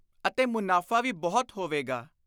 ਅਤੇ ਮੁਨਾਫ਼ਾ ਵੀ ਬਹੁਤ ਹੋਵੇਗਾ।